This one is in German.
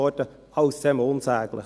Alles zusammen unsäglich.